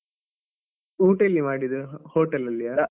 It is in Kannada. ಊಟ ಎಲ್ಲಿ ಮಾಡಿದ್ದು? ಹೊಟೇಲಲ್ಲಿಯ?